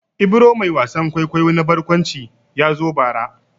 Ibro mai wasan kwaikwayo na barkwanci ya zo bara.